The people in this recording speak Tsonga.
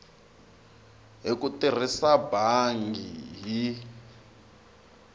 hi ku tirhisa bangi hi